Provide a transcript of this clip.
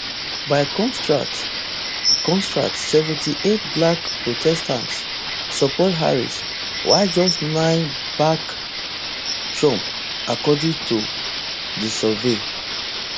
by contrast contrast seventy-eight black protestants support harris while just nine back trump according to di survey